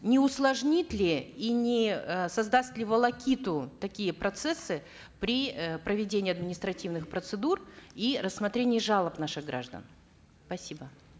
не усложнит ли и не э создаст ли волокиту такие процессы при э проведении административных процедур и рассмотрении жалоб наших граждан спасибо